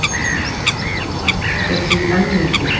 Sprengihætta er því enn mikil